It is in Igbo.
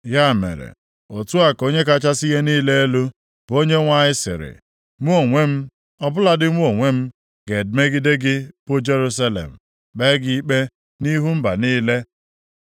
“Ya mere, otu a ka Onye kachasị ihe niile elu, bụ Onyenwe anyị sịrị, Mụ onwe m, ọ bụladị mụ onwe m, ga-emegide gị bụ Jerusalem, kpee gị ikpe nʼihu mba niile.